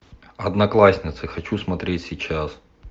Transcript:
одноклассницы хочу смотреть сейчас